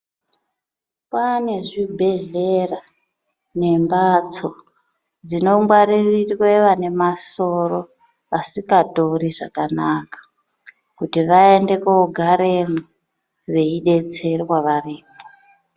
Paane zvibhedhlera nemphatso dzinongwaririrwe vane masoro asikatori zvakanaka, kuti vaende koogaremwo veidetserwa varimwo.